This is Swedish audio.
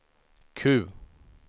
Q